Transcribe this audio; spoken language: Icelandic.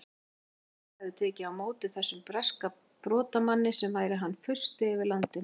Íslendingar hefðu tekið á móti þessum breska brotamanni sem væri hann fursti yfir landinu!